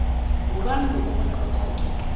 ngubani ngokubona kwekhotho